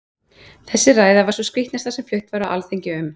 Þessi ræða var sú skrítnasta sem flutt var á þingi um